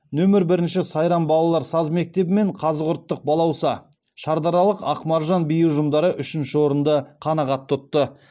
нөмір бірінші сайрам балалар саз мектебі мен қазығұрттық балауса шардаралық ақмаржан би ұжымдары үшінші орынды қанағат тұтты